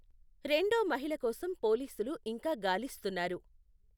రెండో మహిళ కోసం పోలీసులు ఇంకా గాలిస్తున్నారు.